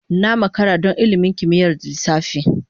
Na makara don ilimin kimiyyar lissafi.